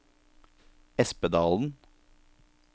Espedalen